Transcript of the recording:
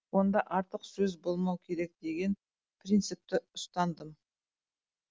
онда артық сөз болмау керек деген принципті ұстандым